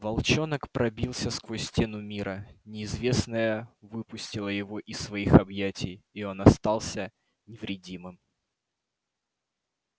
волчонок пробился сквозь стену мира неизвестное выпустило его из своих объятий и он остался невредимым